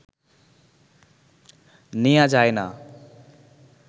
নেয়া যায় না